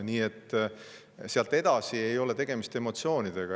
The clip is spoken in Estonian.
Nii et sealt edasi ei ole tegemist emotsioonidega.